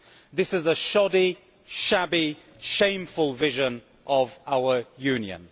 This is a shoddy, shabby, shameful vision of our Union.